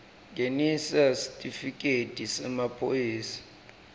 ngenisa sitifiketi semaphoyisa